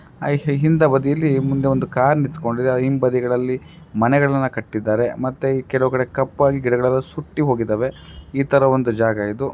ಹಿಂದ ಬದಿಯಲ್ಲಿ ಮುಂದೆ ಒಂದು ಕಾರ್ ನಿಂತಕೊಂಡಿದೆ ಆ ಹಿಂಬದಿಯಲ್ಲಿ ಮನೆಗಳನ್ನ ಕಟ್ಟಿದ್ದಾರೆ ಮತ್ತೆ ಕೆಲವು ಕಡೆ ಕಪ್ಪಾಗಿ ಗಿಡಗಳು ಸುತ್ತಿ ಹೋಗಿದವೆ ಈ ತರಹ ಒಂದು ಜಾಗವಿದು.